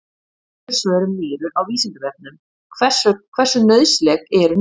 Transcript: Önnur svör um nýru á Vísindavefnum: Hversu nauðsynleg eru nýrun?